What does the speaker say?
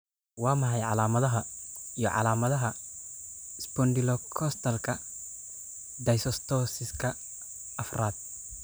Waa maxay calaamadaha iyo calaamadaha Spondylocostalka dysostosiska afraad?